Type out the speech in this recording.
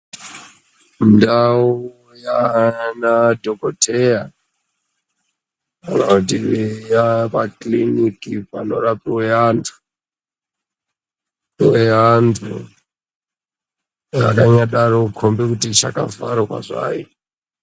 Ndau yaana dhokoteya iyo inoiti eya pakiliniki panorapwe antueya pouya antu anonyambodaro kukombe kuti chakavharwazvo hai.